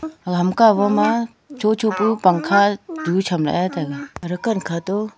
aga hamka cho cho pu pangkha du chem lah e.